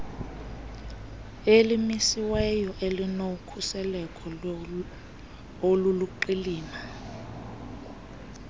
elimiselweyo elinokhuseleko oluluqilima